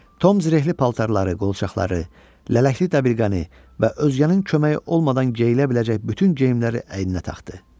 Tom zirehli paltarları, qolçaqları, lələkli dəbilqəni və özgənin köməyi olmadan geyilə biləcək bütün geyimləri əyninə taxdı.